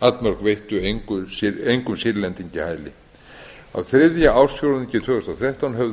allmörg veittu engum sýrlendingi hæli á þriðja ársfjórðungi tvö þúsund og þrettán höfðu